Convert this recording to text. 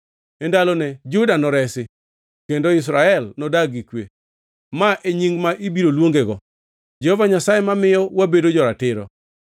E ndalone Juda noresi kendo Israel nodag gi kwe. Ma e nying ma ibiro luongego: Jehova Nyasaye mamiyo wabedo jo-ratiro.”